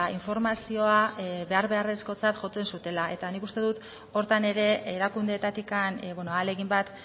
informazioa behar beharrezkotzat jotzen zutela eta nik uste dut horretan ere erakundeetatik ahalegin bat